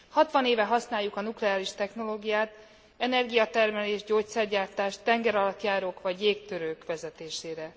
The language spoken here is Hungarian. Hatvan éve használjuk a nukleáris technológiát energiatermelés, gyógyszergyártás, tengeralattjárók vagy jégtörők vezetésére.